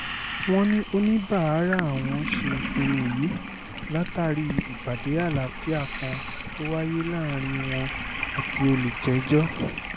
wọ́n ní oníbàárà àwọn ṣe ìpinnu yìí látàrí ìpàdé àlàáfíà kan tó wáyé láàrin wọn àti olùjẹ́jọ́